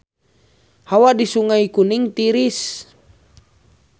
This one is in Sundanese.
Hawa di Sungai Kuning tiris